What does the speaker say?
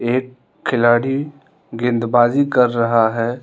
एक खिलाड़ी गेंदबाज़ी कर रहा है।